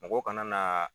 Mɔgɔw kana na